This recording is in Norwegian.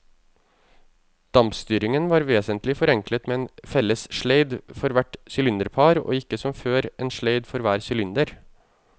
Dampstyringen var vesentlig forenklet med en felles sleid for hvert sylinderpar og ikke som før, en sleid for hver sylinder.